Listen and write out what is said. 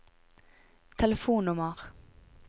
telefonnummer